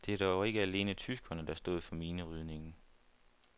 Det var dog ikke alene tyskerne, der stod for minerydningen.